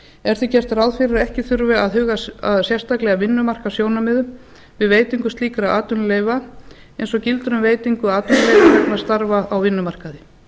er því gert ráð fyrir að ekki þurfi að huga sérstaklega að vinnumarkaðssjónarmiðum við veitingu slíkra atvinnuleyfa eins og gildir um veitingu atvinnuleyfa vegna starfa á vinnumarkaði